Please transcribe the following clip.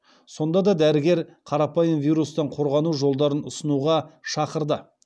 сонда да дәрігер қарапайым вирустан қорғану жолдарын ұстануға шақырды